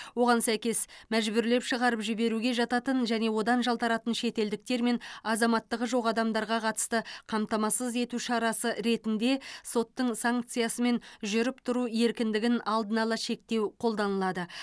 оған сәйкес мәжбүрлеп шығарып жіберуге жататын және одан жалтаратын шетелдіктер мен азаматтығы жоқ адамдарға қатысты қамтамасыз ету шарасы ретінде соттың санкциясымен жүріп тұру еркіндігін алдын ала шектеу қолданылады